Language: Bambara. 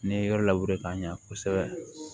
N'i ye yɔrɔ labure ka ɲa kosɛbɛ